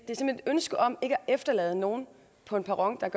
ønske om ikke at efterlade nogen på en perron